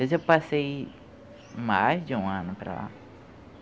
Eu já passei mais de um ano para lá.